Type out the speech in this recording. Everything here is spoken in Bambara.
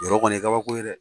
Yɔrɔ kɔni ye kabako ye dɛ